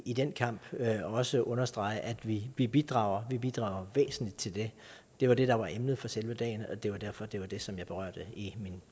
i den kamp og også at understrege at vi vi bidrager vi bidrager væsentligt til det det var det der var emnet for selve dagen og det var derfor at det var det som jeg berørte i min